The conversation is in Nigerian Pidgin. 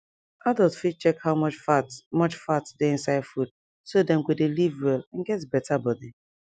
adult fit check how much fat much fat dey inside food so dem go de live well and get better body